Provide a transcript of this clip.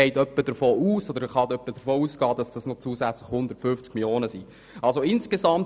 Man kann davon ausgehen, dass dies noch etwa 150 Mio. Franken ergibt.